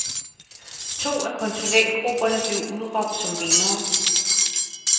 To af konsulentgrupperne blev udråbt som vindere.